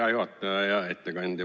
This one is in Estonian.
Hea juhataja ja ettekandja!